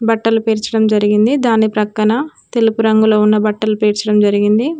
బట్టలు పెర్చడం జరిగింది దాని ప్రక్కన తెలుపు రంగులో ఉన్న బట్టలు పేర్చడం జరిగింది.